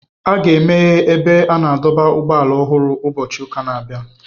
A ga-emeghe ebe a na-adọba ụgbọala ọhụrụ ụbọchị ụka na-abịa.